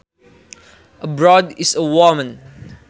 A broad is a woman